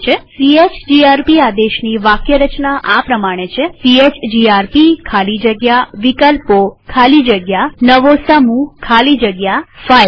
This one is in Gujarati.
સીએચજીઆરપી આદેશની વાક્યરચના આ પ્રમાણે છે160 સીએચજીઆરપી ખાલી જગ્યા વિકલ્પો ખાલી જગ્યા નવો સમૂહ ખાલી જગ્યા ફાઇલ્સ